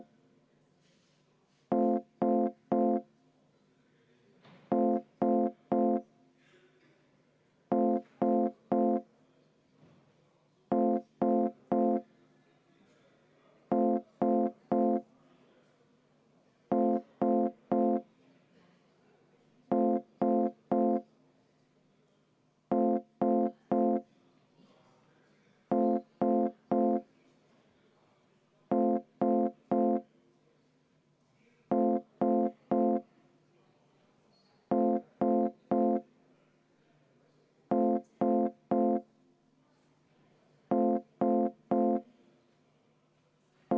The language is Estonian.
Palun Eesti Konservatiivse Rahvaerakonna fraktsiooni nimel panna antud muudatusettepanek hääletusele ja enne hääletust soovin võtta kümme minutit vaheaega.